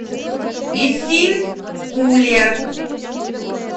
исилькуле